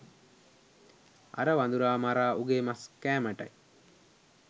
අර වඳුරා මරා උගේ මස් කෑමටයි.